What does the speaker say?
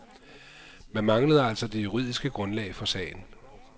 Man manglede altså det juridiske grundlag for sagen.